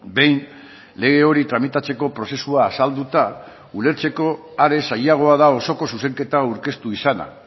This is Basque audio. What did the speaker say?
behin lege hori tramitatzeko prozesua azalduta ulertzeko are zailagoa da osoko zuzenketa aurkeztu izana